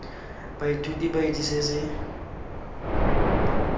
baithuti ba itse se se